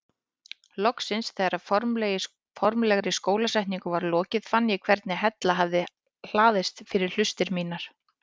Loksins þegar formlegri skólasetningu var lokið fann ég hvernig hella hafði hlaðist fyrir hlustir mínar.